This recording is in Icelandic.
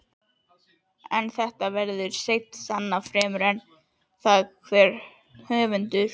En þetta verður seint sannað fremur en það hver höfundur